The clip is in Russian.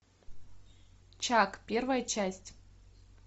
чак первая часть